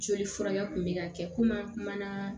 Joli furakɛ kun bɛ ka kɛ komi an kumana